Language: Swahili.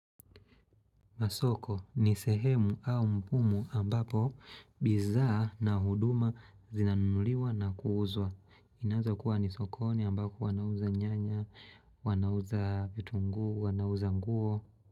Masoko ni sehemu au mpumu ambapo bizaa na huduma zinanuliwa na kuuuzwa. Ineaza kuwa ni sokoni ambako wanauza nyanya, wanauza vitu nguu, wanauza nguo.